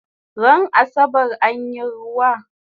Ran asabar anyi ruwa?